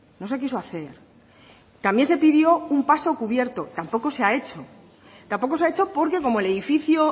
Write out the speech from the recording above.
no se quiso hacer también se pidió un paso cubierto tampoco se ha hecho tampoco se ha hecho porque como el edificio